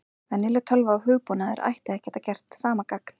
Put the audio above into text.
Venjuleg tölva og hugbúnaður ætti að geta gert sama gagn.